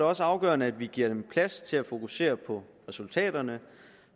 også afgørende at vi giver dem plads til at fokusere på resultaterne